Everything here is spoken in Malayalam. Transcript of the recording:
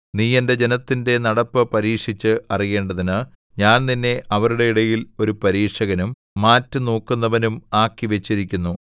നീ എന്റെ ജനത്തിന്റെ നടപ്പ് പരീക്ഷിച്ച് അറിയേണ്ടതിന് ഞാൻ നിന്നെ അവരുടെ ഇടയിൽ ഒരു പരീക്ഷകനും മാറ്റുനോക്കുന്നവനും ആക്കിവച്ചിരിക്കുന്നു